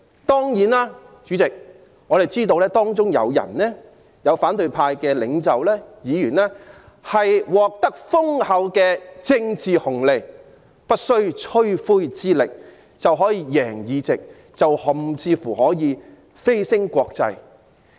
當然，主席，我們知道反對派領袖及議員獲得豐厚的政治紅利，不費吹灰之力就可以贏得議席，甚至乎蜚聲國際。